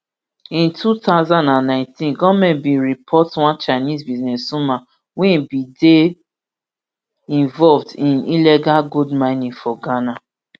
in two thousand and nineteen goment bin deport one chinese businesswoman wey bin dey involved in illegal gold mining for ghana